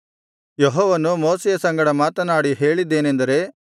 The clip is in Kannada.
ಯೆಹೋವನು ಮೋಶೆಯ ಸಂಗಡ ಮಾತನಾಡಿ ಹೇಳಿದ್ದೇನೆಂದರೆ